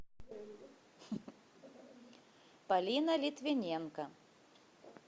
полина литвиненко